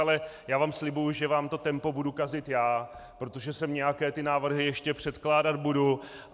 Ale já vám slibuji, že vám to tempo budu kazit já, protože sem nějaké ty návrhy ještě předkládat budu.